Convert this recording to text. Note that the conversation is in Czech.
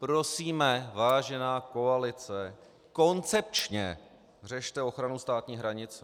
Prosíme, vážená koalice, koncepčně řešte ochranu státní hranice.